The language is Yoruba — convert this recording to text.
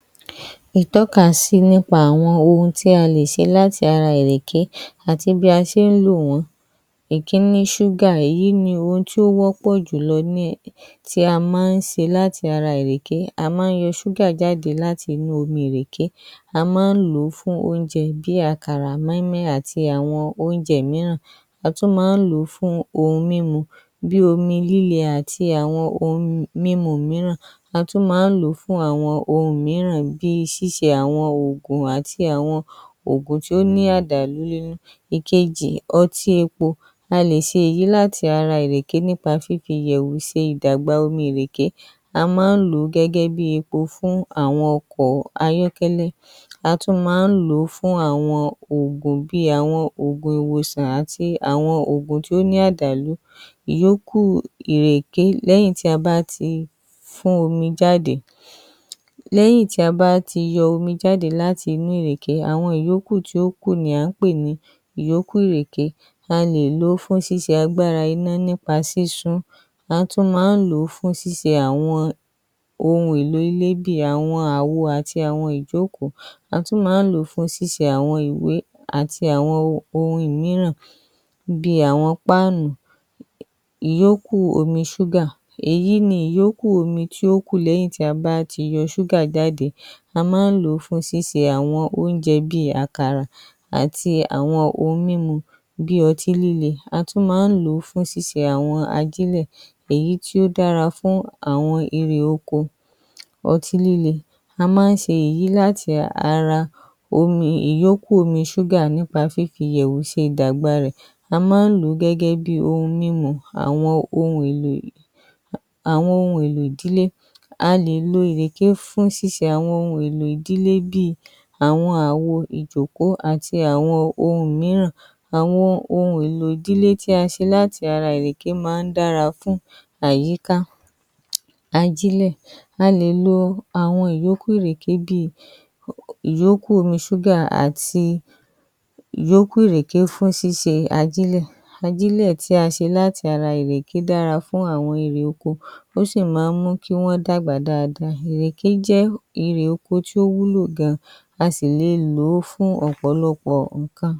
Ìtọ́kasí Ara àwọn ohun tí a lè ṣe láti ara ìrèké, àti bí a ṣe ń lò wọ́n, ìkíní; ṣúgà, èyí ni ohun tí ó wọ́pọ̀ jùlọ tí wọ́n ń ṣe láti ara ìrèké, a máa ń yọ ṣúgà jáde láti ara omi ìrèké, a máa ń lò ó fún àwọn oúnjẹ bíi àkàrà, mọ́í mọ́í àti àwọn oúnjẹ mìíràn, a tún máa ń lò ó fún, ohun mímu bíi omi líle àti àwọn ohun mímu mìíràn, a tún máa ń lò ó fún àwọn ohun mìíràn bíi òògùn tó ní àdàlú ‎Ìkejì; Ọtí epo, a lè ṣe èyí láti ara fífi ìyẹ̀wù ṣe omi ìrèké a máa ń lò ó gẹ́gẹ́ bíi epo fún àwọn ọkọ̀ bíi ayọ́kẹ́lẹ́, a tún máa ń lò ó fún àwọn òògùn bíi ìwòsàn àti àwọn òògùn tí ó ní àdàlú ìyókù ìrèké lẹ́yìn tí a bá ti fún omi jáde, lẹ́yìn tí a bá ti yọ omi jáde láti inú ìrèké, àwọn ìyókù ni wọ́n ń pè ní ìyókù ìrèké, a lè lò ó fún ṣíṣe agbára iná nípa sísun ún a tún máa ń lò ó fún șíṣe àwọn ohun èlò ilé bíi àwo ìjókòó, a tún máa ń lò ó fún ṣíṣe àwọn ìwé bíi ohùn mìíràn bíi àwọn páànù ‎Ìyókù omi ṣúgà, èyí ni ìyókù omi tí ó kù lẹ́yìn tí a bá ti yọ ṣúgà jáde a máa ń lò ó fún ṣíṣe àwọn oúnjẹ bíi àkàrà àti àwọn ohun mímu bíi ọtí líle, a tún máa ń lò ó fún ṣíṣe àwọn ajílẹ̀ èyí tí ó dára fún àwọn irè oko. ‎Ọtí líè: a máa ń ṣe èyí láti ara ìyókù omi ṣúgà nípa fífi ìyẹ̀wù ṣe ìdàgbà rẹ, a máa ń lò ó gẹ́gẹ́ bíi ohun mímu, àwọn ohun èlò ìdílé bíi àwọn ìjòkó àti àwọn ohùn mìíràn, àwọn ohun èlò ìdílé tí a ṣe láti ara ìrèké dára fún àyíká. ‎Ajílẹ̀ /a lè lo ìyókù ìrèké bíi ìyókù omi ṣúgà àti ìyókù ìrèké fún ṣíṣe ajílẹ̀, ajílẹ̀ tí a ṣe láti ara ìrèké dára fún àwọn irè oko ó sì máa ń mú kí Wọ́n dàgbà dáadáa, ìrèké jẹ́ irè oko tí ó wúlò gan, a sì le lò ó fún ọ̀pọ̀lọpọ̀ ǹǹkan. ‎